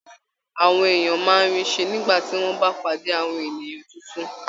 Àwọn èèyàn máa ń rí ṣe nígbà tí wọ́n bá pàdé àwọn ènìyàn tuntun